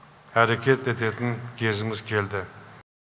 әрекет ететін кезіміз келді